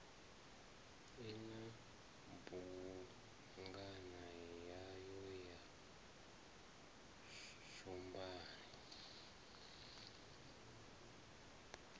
ina bugwana yayo ya tshumban